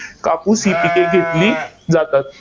कापूस ही पिके घेतली जातात.